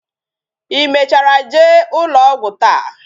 Ị mechara jee ụlọ ọgwụ taa?